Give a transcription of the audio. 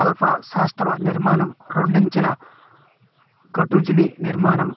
alpha సౌష్టవ నిర్మాణం రెండంచల షట్భుజనిర్మాణం